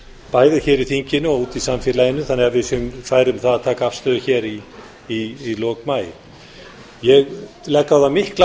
bæði hér í þinginu og úti í samfélaginu þannig að við séum fær um að taka afstöðu í lok maí ég legg á það mikla